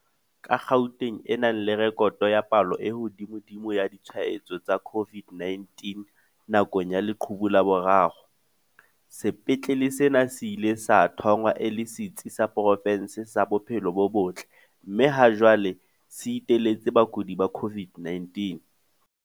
Ka Gauteng e nang le rekoto ya palo e hodimodimo ya ditshwa etso tsa COVID-19 nakong ya leqhubu la boraro, sepetlele sena se ile sa thongwa e le setsi sa profense sa bophelo bo botle mme ha jwale se iteletse bakudi ba COVID-19.